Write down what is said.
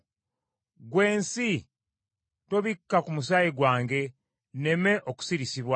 “Ggwe ensi, tobikka ku musaayi gwange; nneme okusirisibwa!